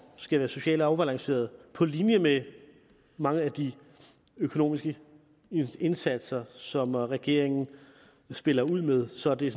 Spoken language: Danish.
skal være socialt afbalanceret på linje med mange af de økonomiske indsatser som regeringen spiller ud med så det er